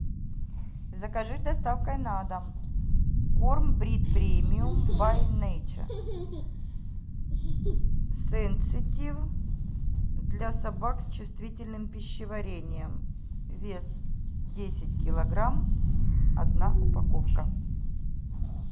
закажи с доставкой на дом корм брит премиум бай нейча сенситив для собак с чувствительным пищеварением вес десять килограмм одна упаковка